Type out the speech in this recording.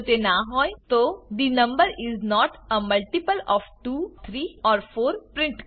જો તે ના હોય the number is not a multiple of 2 3 or 4 print કરો